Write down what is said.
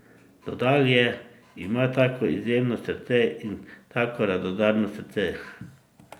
Dodal je: "Ima tako izjemno srce in tako radodarno srce.